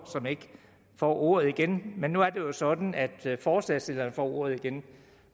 som ikke får ordet igen men nu er det jo sådan at forslagsstilleren får ordet igen